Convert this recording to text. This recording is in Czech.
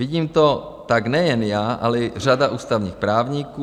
Vidím to tak nejen já, ale i řada ústavních právníků.